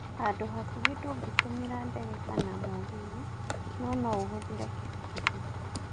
Handũ hakuhĩ ndũngĩtũmĩra ndege kana mũgithi no noũhũthĩre kibikibi.